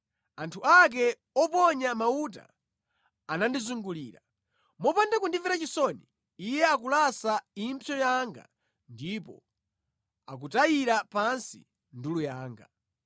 anthu ake oponya mauta andizungulira. Mopanda kundimvera chisoni, Iye akulasa impsyo zanga ndipo akutayira pansi ndulu yanga.